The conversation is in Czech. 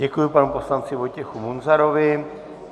Děkuji panu poslanci Vojtěchu Munzarovi.